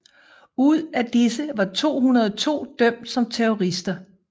Ud af disse var 202 dømt som terrorister